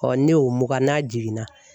ne y'o mugan n'a jiginna.